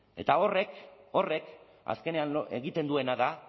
eta horrek azkenean egiten duena da